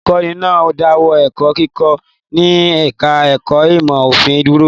Olùkọ́ní náà dáwọ́ ẹ̀kọ́ kíkọ́ ní ẹ̀ka-ẹ̀kọ́ ìmọ̀-òfin dúró?